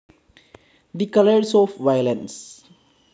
the colours of violence